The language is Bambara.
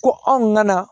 Ko anw nana